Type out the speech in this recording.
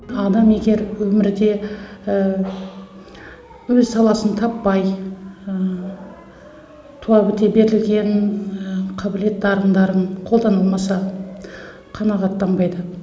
адам егер өмірде өз саласын таппай туа біте берілген қабілет дарындарын қолдана алмаса қанағаттанбайды